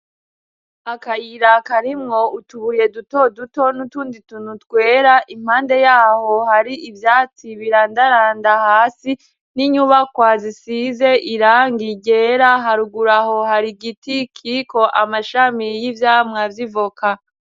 Akayira karimwo utubuye duto duto n'utundi tuntu twera impande yaho hari ivyatsi birandaranda hasi ,n'inyubakwa zisize irangi ryera harugur'aho har'igiti kiriko amashami y'ivyamwa vy'ivoka.